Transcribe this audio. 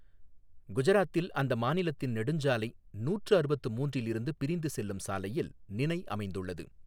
குஜராத்தில் அந்த மாநிலத்தின் நெடுஞ்சாலை நூற்று அறுபத்து மூன்றில் இருந்து பிரிந்து செல்லும் சாலையில் நினய் அமைந்துள்ளது.